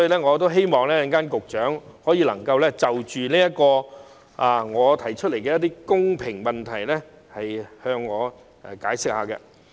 我希望局長稍後能就我提出的公平性問題作出解釋。